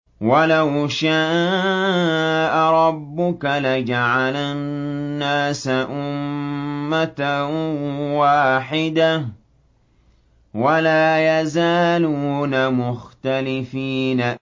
وَلَوْ شَاءَ رَبُّكَ لَجَعَلَ النَّاسَ أُمَّةً وَاحِدَةً ۖ وَلَا يَزَالُونَ مُخْتَلِفِينَ